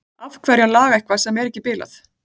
Af hverju að laga eitthvað sem er ekki bilað?